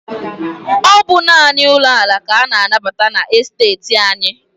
Ọ bụ naanị ụlọ ala ka a na-anabata na esteeti anyị.